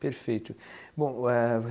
Perfeito. Bom, eh